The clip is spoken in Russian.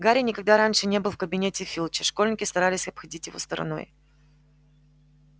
гарри никогда раньше не был в кабинете филча школьники старались обходить его стороной